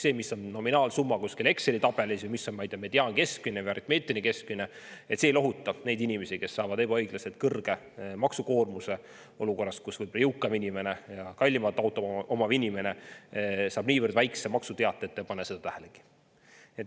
See, mis on nominaalsumma kuskil Exceli tabelis, ja mis on, ma ei tea, mediaankeskmine, aritmeetiline keskmine – see ei lohuta neid inimesi, kes saavad ebaõiglaselt kõrge maksukoormuse olukorras, kus võib-olla jõukam inimene ja kallimat autot omav inimene saab nii väikse maksu teate, ei pane seda tähelegi.